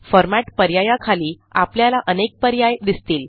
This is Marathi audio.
Formatपर्यायाखाली आपल्याला अनेक पर्याय दिसतील